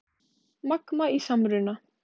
Magma í samruna